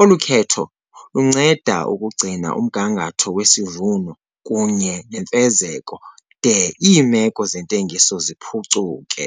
Olu khetho lunceda ukugcina umgangatho wesivuno kunye nemfezeko de iimeko zentengiso ziphucuke.